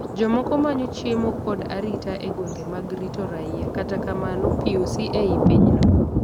jomoko manyo chiemo kod arita e gwenge mag rito raia kata kamano POC e i pinyno.